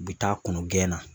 U bi taa kɔnɔ gɛnna